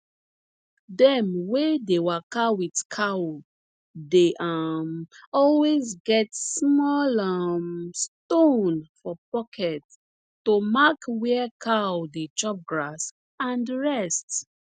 dem wey dey waka with cow dey um always get small um stone for pocket to mark where cow dey chop grass and rest